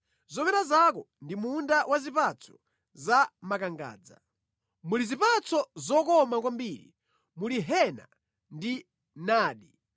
Zomera zako ndi munda wa zipatso za makangadza; muli zipatso zokoma kwambiri, muli hena ndi nadi,